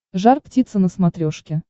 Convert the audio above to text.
жар птица на смотрешке